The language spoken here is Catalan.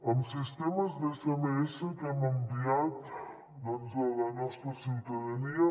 amb sistemes d’sms que hem enviat doncs a la nostra ciutadania